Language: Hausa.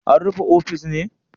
An rufe ofis ne?